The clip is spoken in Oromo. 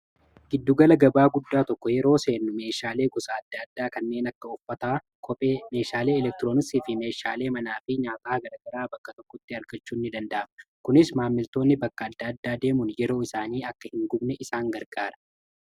Giddugala gabaa guddaa tokko yeroo seennu meeshaalee gosa adda addaa kanneen akka uffataa, kophee, meeshaalee elektiroonisii fi meeshaalee manaa fi nyaataa gagaragaraa bakka tokkotti argachuu ni danda'ama. Kunis maammiltoonni bakka adda addaa deemuun yeroo isaanii akka hin gubne isaan gargaara.